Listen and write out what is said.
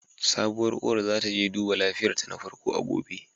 Sabuwar uwar za ta je duba lafiyarta na farko a gobe.